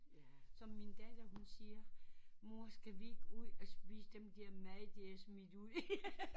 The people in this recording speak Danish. Som min datter hun siger mor skal vi ikke ud og spise dem der mad de har smidt ud